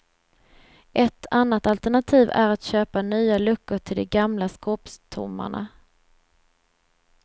Ett annat alternativ är att köpa nya luckor till de gamla skåpstommarna.